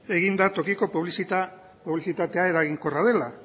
egin da tokiko publizitatea eraginkorra dela